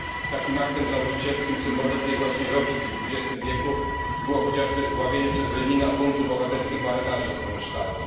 Takim aktem założycielskim, symbolem tej właśnie logiki w XX wieku było chociażby zdławienie przez Lenina buntu bohaterskich marynarzy z Kronstadtu.